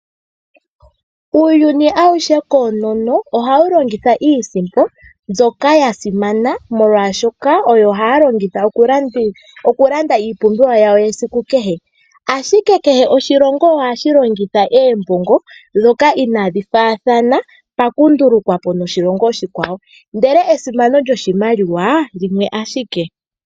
Uuyuni awuhe ohawu longitha iisimpo ndjoka yasimana, oshoka ohayi longithwa okulanda iipumbiwa yesiku kehe, ashike kehe oshilongo ohashi longitha iimaliwa yasho ndjoka inayifa yiilongo iikwawo pakundulukwapo niilongo iikwawo, ashike esimano lyiimaliwa limwe ashike.